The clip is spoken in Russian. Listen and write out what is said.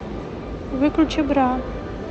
выключи бра